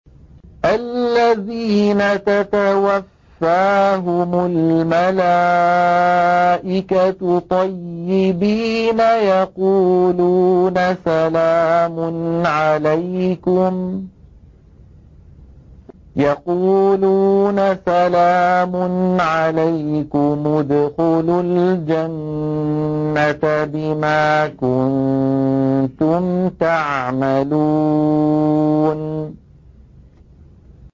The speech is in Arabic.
الَّذِينَ تَتَوَفَّاهُمُ الْمَلَائِكَةُ طَيِّبِينَ ۙ يَقُولُونَ سَلَامٌ عَلَيْكُمُ ادْخُلُوا الْجَنَّةَ بِمَا كُنتُمْ تَعْمَلُونَ